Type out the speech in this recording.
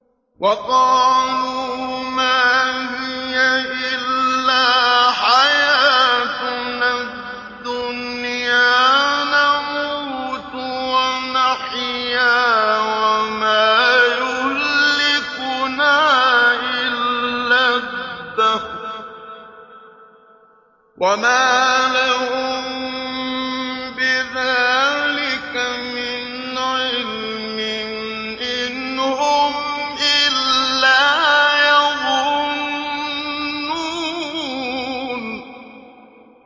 وَقَالُوا مَا هِيَ إِلَّا حَيَاتُنَا الدُّنْيَا نَمُوتُ وَنَحْيَا وَمَا يُهْلِكُنَا إِلَّا الدَّهْرُ ۚ وَمَا لَهُم بِذَٰلِكَ مِنْ عِلْمٍ ۖ إِنْ هُمْ إِلَّا يَظُنُّونَ